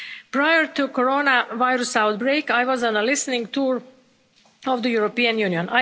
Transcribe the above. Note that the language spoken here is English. Prior to the Coronavirus outbreak, I was on a listening tour of the European Union.